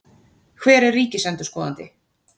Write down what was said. Hver er ríkisendurskoðandi?